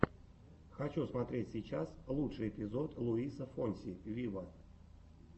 хочу смотреть сейчас лучший эпизод луиса фонси виво